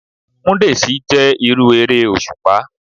Múdèsí o jé irú eré òṣùpá.